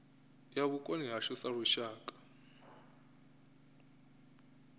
ya vhukoni hashu sa lushaka